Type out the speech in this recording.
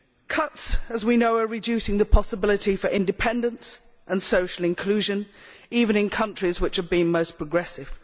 Cuts as we know are reducing the possibility for independence and social inclusion, even in those countries which have been most progressive.